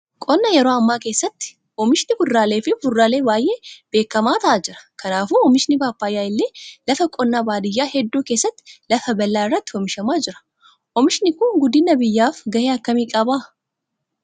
Qonna yeroo ammaa keessatti oomishni kuduraalee fi fuduraalee baay'ee beekamaa ta'aa jira. Kanaafuu oomishni pappaayyaa illee lafa qonnaa baadiyyaa hedduu keessatti lafa bal'aa irratti oomishamaa jira. Oomishni Kun guddina biyyaaf gahee akkami qabaa?